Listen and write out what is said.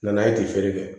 N nana ye ten